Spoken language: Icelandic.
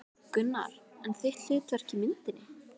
Gunnar: En þitt hlutverk í myndinni?